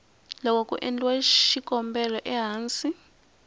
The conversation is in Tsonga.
loko ku endliwa xikombelo ehansi